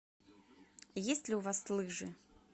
есть ли у вас лыжи